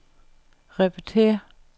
repetér